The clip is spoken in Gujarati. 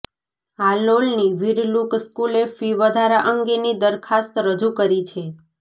હાલોલની વીરલુક સ્કૂલે ફી વધારા અંગેની દરખાસ્ત રજૂ કરી છે